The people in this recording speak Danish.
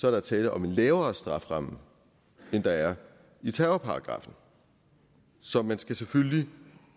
er der tale om en lavere strafferamme end der er i terrorparagraffen så man skal selvfølgelig